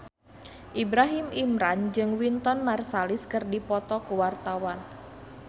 Ibrahim Imran jeung Wynton Marsalis keur dipoto ku wartawan